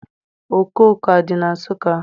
Okooko adị na Nsụka?